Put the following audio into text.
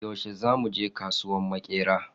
Yaushe zamu je kasuwan Maƙera?